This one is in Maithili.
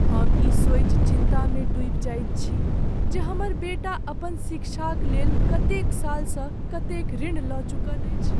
हम ई सोचि चिन्तामे डूबि जाइत छी जे हमर बेटा अपन शिक्षाक लेल कतेक सालसँ कतेक ऋण लऽ चुकल अछि।